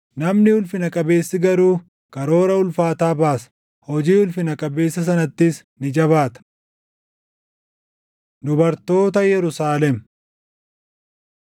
Namni ulfina qabeessi garuu karoora ulfaataa baasa; hojii ulfina qabeessa sanattis ni jabaata. Dubartoota Yerusaalem